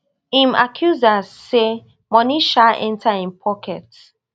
im accusers say money sha enta im pocket